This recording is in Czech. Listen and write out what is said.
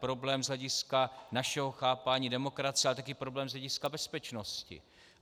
Problém z hlediska našeho chápání demokracie, ale také problém z hlediska bezpečnosti.